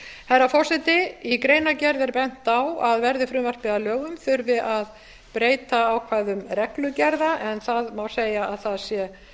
herra forseti í greinargerð er bent á að verði frumvarpið að lögum þurfi að breyta ákvæðum reglugerða en það má segja að það séu